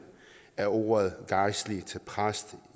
af ordet gejstlig til præst